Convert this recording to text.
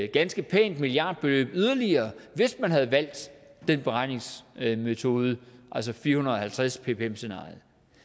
ganske pænt milliardbeløb yderligere hvis man havde valgt den beregningsmetode altså fire hundrede og halvtreds ppm scenariet